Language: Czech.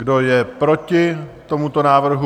Kdo je proti tomuto návrhu?